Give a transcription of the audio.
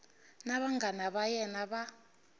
na vanghana va yena va